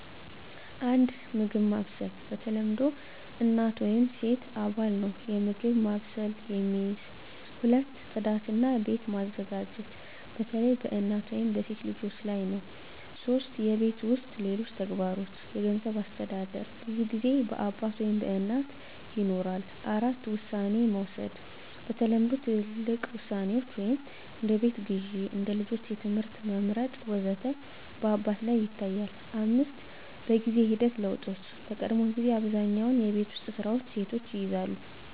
1. የምግብ ማብሰል በተለምዶ እናት ወይም ሴት አባል ነው የምግብ ማብሰልን የሚይዝ። 2. ጽዳት እና ቤት መዘጋጀት በተለይ በእናት ወይም በሴት ልጆች ላይ ነው 3. የቤት ውስጥ ሌሎች ተግባሮች የገንዘብ አስተዳደር በብዙ ጊዜ በአባት ወይም በእናት ይኖራል። 4. ውሳኔ መውሰድ በተለምዶ ትልቅ ውሳኔዎች (እንደ ቤት ግዢ፣ እንደ ልጆች ትምህርት መመርጥ ወዘተ) በአባት ላይ ይታያል፣ 5. በጊዜ ሂደት ለውጦች በቀድሞ ጊዜ አብዛኛውን የቤት ውስጥ ስራዎች ሴቶች ይይዛሉ